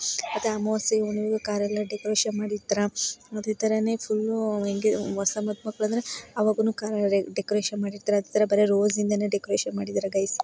ಅದ ಅಮಾವಾಸ್ಯೆ ಹುಣ್ಣಿಮೆಗು ಕಾರೆ ಲ್ಲ ಡೆಕೋರೇಷನ್ ಮಾಡಿರ್ತೀರಾ. ಅದೇ ತರಾನೇ ಫುಲ್ ಎಂಗೇಜ್ ಹೊಸ ಮಧು ಮಕ್ಕಳು ಅಂದ್ರೆ ಅವಾಗ್ಲೇನೋ ಕಾರ್ ಡೆಕೋರೇಷನ್ ಮಾಡಿರ್ತೀರಾ ಇತರ ರೋಜ್ ಇಂದಾನೆ ಡೆಕೋರೇಷನ್ ಮಾಡಿದ್ದೀರ ಗಾಯ್ಸ್ .